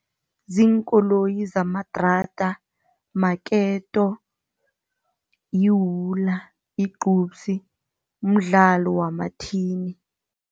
Ziinkoloyi zamadrada, maketo yiwula, yigcubsi, mdlalo wamathini.